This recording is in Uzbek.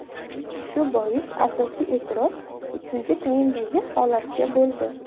Shu bois asosiy e’tiroz ikkinchi taymdagi holatga bo‘ldi.